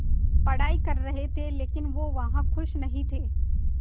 पढ़ाई कर रहे थे लेकिन वो वहां ख़ुश नहीं थे